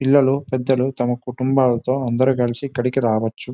పిల్లలు పెద్దలు తమ కుటుంబాలతో కలిసి అందరూ ఇక్కడకి రావచ్చు.